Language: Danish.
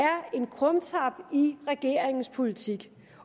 er en krumtap i regeringens politik